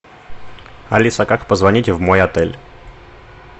алиса как позвонить в мой отель